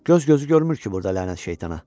Göz gözü görmür ki burda lənət şeytana.